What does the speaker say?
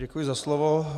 Děkuji za slovo.